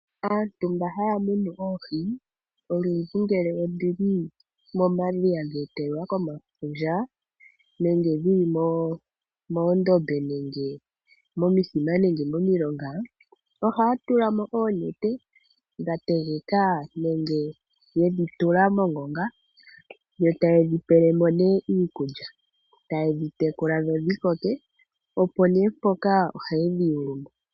Aantu mba haya munu oohi olundji ngele odhili momadhiya dhe etelelwa komafundja nenge dhili moondombe, momithima noshowo momilonga ohaya tulamo oonete dha tegeka benge yedhi tula mongonga, yo tayedhi pelemo ne iikulya tayedhi tekula dhikoke. Nokonima ohaye dhiyulumo.